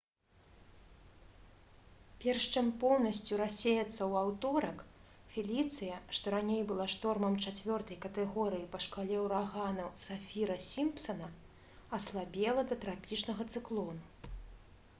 перш чым поўнасцю рассеяцца ў аўторак «феліцыя» што раней была штормам 4 катэгорыі па шкале ўраганаў сафіра-сімпсана аслабела да трапічнага цыклону